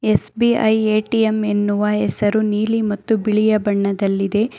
SBI ATM ಎನ್ನುವ ಹೆಸರು ನೀಲಿ ಮತ್ತು ಬಿಳಿಯ ಬಣ್ಣದಲ್ಲಿದೆ.